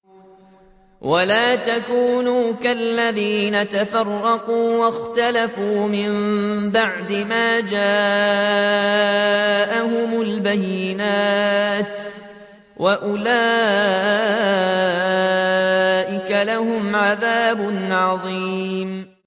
وَلَا تَكُونُوا كَالَّذِينَ تَفَرَّقُوا وَاخْتَلَفُوا مِن بَعْدِ مَا جَاءَهُمُ الْبَيِّنَاتُ ۚ وَأُولَٰئِكَ لَهُمْ عَذَابٌ عَظِيمٌ